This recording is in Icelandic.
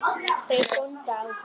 Þeir góndu á hann.